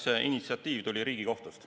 See initsiatiiv tuli Riigikohtust.